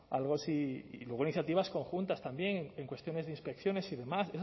algo sí y luego iniciativas conjuntas también en cuestiones de inspecciones y demás